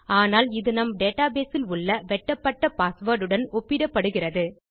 ஆனால் அது நம் டேட்டாபேஸ் இல் உள்ள வெட்டப்பட்ட பாஸ்வேர்ட் உடன் ஒப்பிடப்படுகிறது